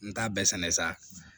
N t'a bɛɛ sɛnɛ sa